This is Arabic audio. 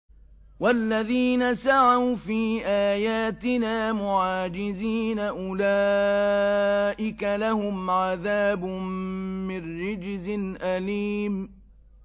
وَالَّذِينَ سَعَوْا فِي آيَاتِنَا مُعَاجِزِينَ أُولَٰئِكَ لَهُمْ عَذَابٌ مِّن رِّجْزٍ أَلِيمٌ